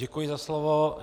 Děkuji za slovo.